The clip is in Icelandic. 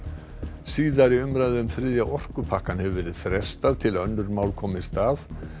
síðari umræðu um þriðja orkupakkann hefur verið frestað til að önnur mál komist að